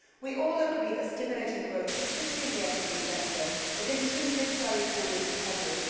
We all agree that stimulating growth, particularly in the SME sector, is intrinsic to our economic recovery.